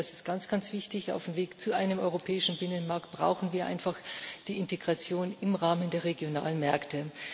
Ich denke, das ist ganz wichtig. Auf dem Weg zu einem europäischen Binnenmarkt brauchen wir einfach die Integration im Rahmen der regionalen Märkte.